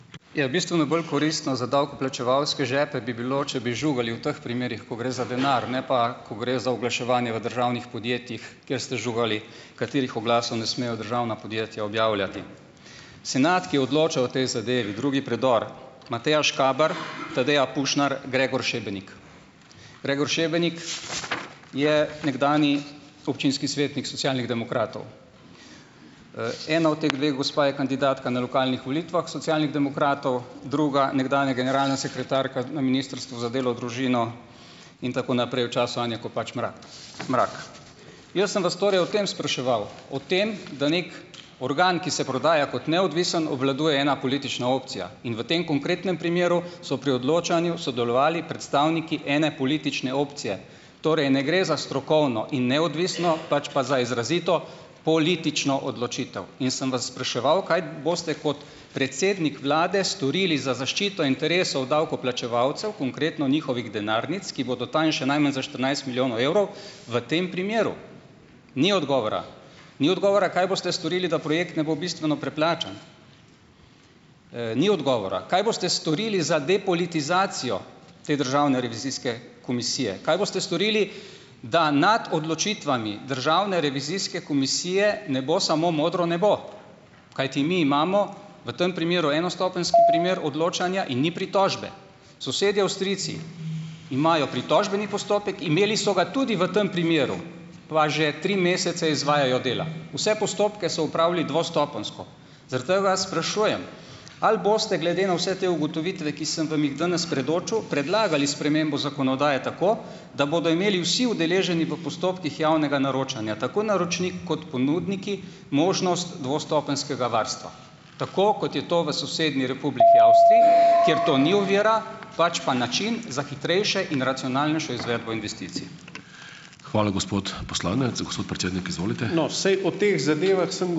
Ja, bistveno bolj koristno za davkoplačevalske žepe bi bilo, če bi žugali v teh primerih, ko gre za denar, ne pa ko gre za oglaševanje v državnih podjetjih, kjer ste žugali katerih oglasov ne smejo državna podjetja objavljati. Senat, ki je odločal o tej zadevi, drugi predor, Mateja Škaber, Tadeja Pušnar, Gregor Šebenik. Gregor Šebenik je nekdanji občinski svetnik Socialnih demokratov, ena od teh dveh gospa je kandidatka na lokalnih volitvah Socialnih demokratov, druga nekdanja generalna sekretarka na Ministrstvu za delo, družino in tako naprej v času Anje Kopač Mrak. Mrak. Jaz sem vas torej o tem spraševal, o tem, da neki organ, ki se prodaja kot neodvisen, obvladuje ena politična opcija in v tem konkretnem primeru so pri odločanju sodelovali predstavniki ene politične opcije, torej ne gre za strokovno in neodvisno, pač pa za izrazito politično odločitev, in sem vas spraševal, kaj boste kot predsednik vlade storili za zaščito interesov davkoplačevalcev, konkretno njihovih denarnic, ki bodo tanjše najmanj za štirinajst milijonov evrov v tem primeru. Ni odgovora, ni odgovora, kaj boste storili, da projekt ne bo bistveno preplačan, ni odgovora. Kaj boste storili za depolitizacijo te državne revizijske komisije? Kaj boste storili, da nad odločitvami državne revizijske komisije ne bo samo modro nebo? Kajti mi imamo v tem primeru enostopenjski primer odločanja in ni pritožbe. Sosedje Avstrijci imajo pritožbeni postopek, imeli so ga tudi v tam primeru, pa že tri mesece izvajajo dela. Vse postopke so opravili dvostopenjsko. Zaradi tega vas sprašujem, ali boste glede na vse te ugotovitve, ki sem vam jih danes predočil, predlagali spremembo zakonodaje tako, da bodo imeli vsi udeleženi v postopkih javnega naročanja tako naročnik kot ponudniki možnost dvostopenjskega varstva, tako kot je to v sosednji Republiki Avstriji, kjer to ni ovira, pač pa način za hitrejše in racionalnejšo izvedbo investicij.